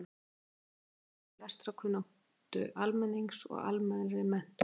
Auk þess dró verulega úr lestrarkunnáttu almennings og almennri menntun.